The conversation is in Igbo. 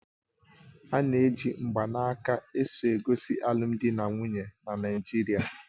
Ana eji mgbanaka esogosi alụmdi na nwunye na Naijiria